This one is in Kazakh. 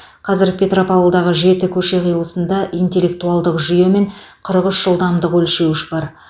қазір петропавлдағы жеті көше қиылысында интеллектуалдық жүйе мен қырық үш жылдамдық өлшеуіш бар